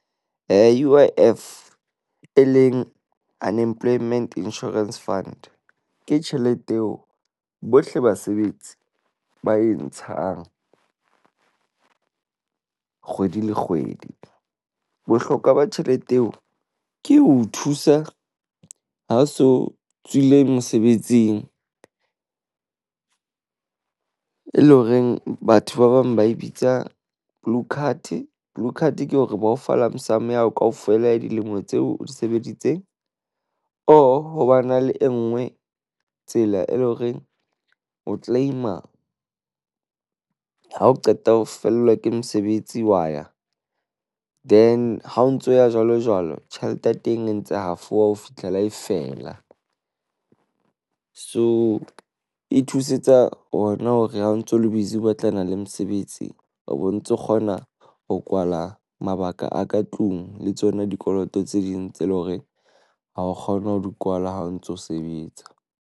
U_I_F e leng Unemployment Insurance Fund. Ke tjhelete eo bohle basebetsi ba e ntshang kgwedi le kgwedi. Bohlokwa ba tjhelete eo ke ho thusa ha so tswile mesebetsing e leng horeng batho ba bang ba e bitsa blue card. Blue card ke hore ba o fa lump sum ya hao kaofela ya dilemo tseo o di sebeditseng. Or ho ba na le e nngwe tsela e leng horeng o claim-a ha o qeta ho fellwa ke mosebetsi wa ya. Then ha o ntso ya jwalo jwalo, tjhelete ya teng e ntse hafowa ho fihlela e fela. So, e thusetsa ona hore ha o ntso le busy o batlana le mosebetsi. O bo ntso kgona ho kwala mabaka a ka tlung le tsona dikoloto tse ding tse leng hore ha wa kgona ho di kwala ha o ntso sebetsa.